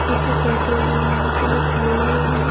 इसमें पेट्रोल डलवाने के लिए खड़े हुए हैं।